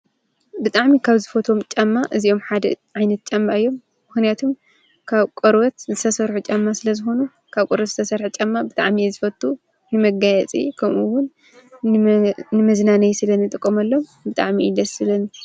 ብጣዕሚ ካብ ዝፈትዎም ጫማ እዚኦም ሓደ ዓይነት ጫማ እዮም። ምክንያቱ ካብ ቆርበት ዝተሰርሑ ጫማ ስለ ዝኮኑ። ካብ ቆርበት ዝተሰርሐ ጫማ ብጣዕሚ እየ ዝፈቱ። መጋየፂ ከምኡ እዉን ንመዝናነዪ ስለ ኣንጥቀመሎም ብጣዕሚ እዮ ደስ ዝብሉኒ።